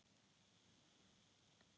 Ég gríp.